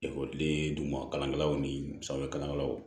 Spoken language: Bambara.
Ekɔliden duguma kalankɛlaw ni sanfɛkalanw